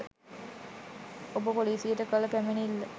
ඔබ පොලිසියට කළ පැමිණිල්ල